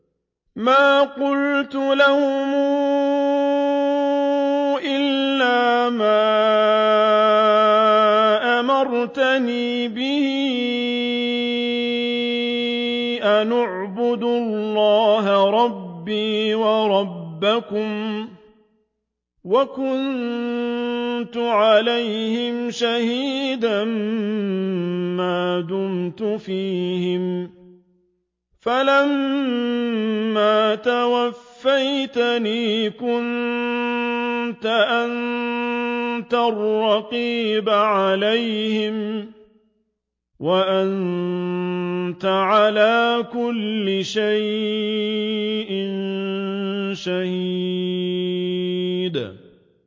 مَا قُلْتُ لَهُمْ إِلَّا مَا أَمَرْتَنِي بِهِ أَنِ اعْبُدُوا اللَّهَ رَبِّي وَرَبَّكُمْ ۚ وَكُنتُ عَلَيْهِمْ شَهِيدًا مَّا دُمْتُ فِيهِمْ ۖ فَلَمَّا تَوَفَّيْتَنِي كُنتَ أَنتَ الرَّقِيبَ عَلَيْهِمْ ۚ وَأَنتَ عَلَىٰ كُلِّ شَيْءٍ شَهِيدٌ